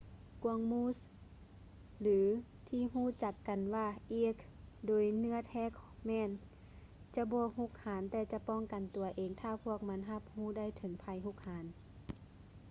ກວາງມູສ ຫຼືທີ່ຮູ້ຈັກກັນວ່າ elk ໂດຍເນື້ອແທ້ແມ່ນຈະບໍ່ຮຸກຮານແຕ່ຈະປ້ອງກັນຕົວເອງຖ້າພວກມັນຮັບຮູ້ໄດ້ເຖິງໄພຮຸກຮານ